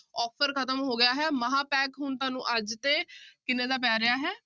Offer ਖ਼ਤਮ ਹੋ ਗਿਆ ਹੈ ਮਹਾਂਪੈਕ ਹੁਣ ਤੁਹਾਨੂੰ ਅੱਜ ਤੇ ਕਿੰਨੇ ਦਾ ਪੈ ਰਿਹਾ ਹੈ।